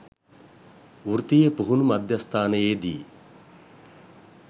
වෘත්තීය පුහුණු මධ්‍යස්ථානයේදී